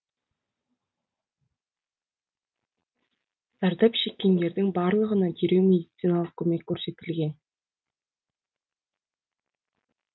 зардап шеккендердің барлығына дереу медициналық көмек көрсетілген